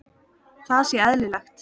Það sé eðlilegt.